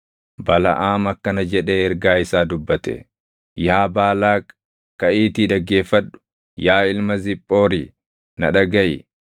Balaʼaam akkana jedhee ergaa isaa dubbate: “Yaa Baalaaq, kaʼiitii dhaggeeffadhu; yaa ilma Ziphoori na dhagaʼi.